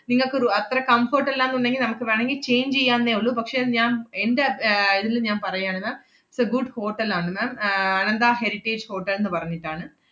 നിങ്ങക്കൊരു അത്ര comfort അല്ലാന്നുണ്ടെങ്കി നമ്മക്ക് വേണങ്കി change എയ്യാവുന്നെ ഒള്ളൂ. പക്ഷേ അത് ഞാ~ എന്‍റെ ഏർ ഇതില് ഞാൻ പറയാണ് ma'am, it is a good hotel ആണ് ma'am. ആഹ് അനന്ത ഹെറിറ്റേജ് ഹോട്ടൽ ~ന്ന് പറഞ്ഞിട്ടാണ്.